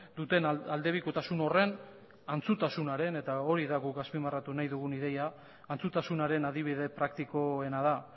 duten aldebikotasun horren antzutasunaren eta hori da guk azpimarratu nahi dugun ideia antzutasunaren adibide praktikoena da